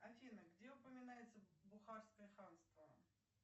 афина где упоминается бухарское ханство